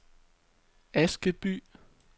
Askeby